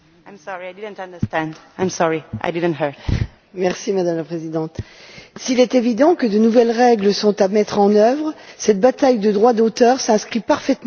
Madame la Présidente, s'il est évident que de nouvelles règles sont à mettre en œuvre, cette bataille autour du droit d'auteur s'inscrit parfaitement dans l'opposition entre les défenseurs de la nation et les mondialistes.